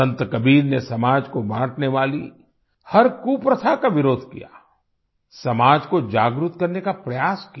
संत कबीर ने समाज को बांटने वाली हर कुप्रथा का विरोध किया समाज को जागृत करने का प्रयास किया